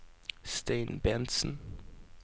Stein Bentsen